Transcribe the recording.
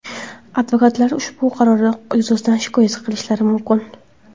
Advokatlar ushbu qaror yuzasidan shikoyat qilishlari mumkin.